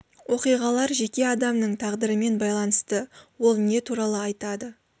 оқиғалар жеке адамның тағдырымен байланысты ол не туралы айтады